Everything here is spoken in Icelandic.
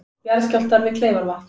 Jarðskjálftar við Kleifarvatn